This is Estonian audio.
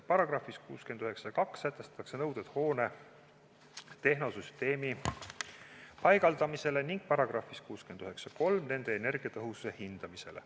Paragrahvis 692 sätestatakse nõuded hoone tehnosüsteemi paigaldamisele ning §-s 693 selle energiatõhususe hindamisele.